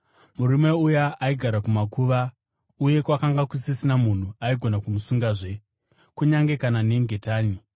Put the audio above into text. Murume uyu aigara kumakuva, uye kwakanga kusisina munhu aigona kumusungazve, kunyange kana nengetani.